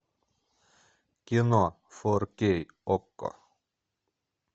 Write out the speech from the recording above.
кино фор кей окко